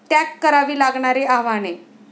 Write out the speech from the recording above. त्याग करावी लागणारी आव्हाने